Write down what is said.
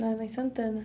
Ah, lá em Santana.